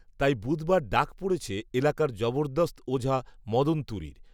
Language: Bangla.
তাই বুধবার ডাক পড়েছে এলাকার জবরদস্ত ওঝা মদন তুরির